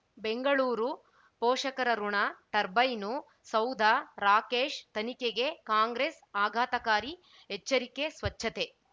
ಬೆಂಗಳೂರು ಪೋಷಕರಋಣ ಟರ್ಬೈನು ಸೌಧ ರಾಕೇಶ್ ತನಿಖೆಗೆ ಕಾಂಗ್ರೆಸ್ ಆಘಾತಕಾರಿ ಎಚ್ಚರಿಕೆ ಸ್ವಚ್ಛತೆ